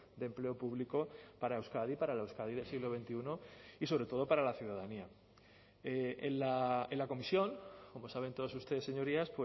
de empleo público para euskadi para la euskadi del siglo veintiuno y sobre todo para la ciudadanía en la comisión como saben todos ustedes señorías